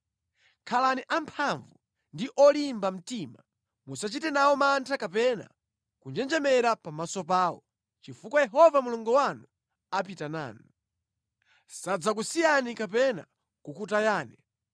Khalani amphamvu ndi olimba mtima. Musachite nawo mantha kapena kunjenjemera pamaso pawo, chifukwa Yehova Mulungu wanu apita nanu. Sadzakusiyani kapena kukutayani.”